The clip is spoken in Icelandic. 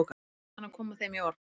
Hann kann að koma þeim í orð.